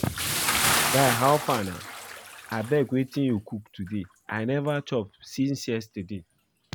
Guy how far na? Abeg wetin you cook today? I never chop since yesterday